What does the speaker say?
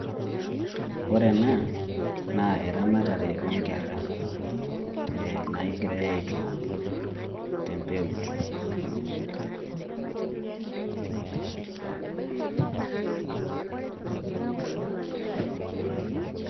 Ore ena, naa eramatare onkerra, nagirai aitook tempeut.